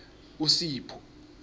usipho